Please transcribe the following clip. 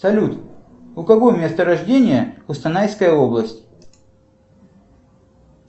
салют у кого место рождения кустанайская область